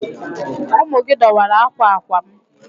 Ụmụ gị dọwara akwa akwa m.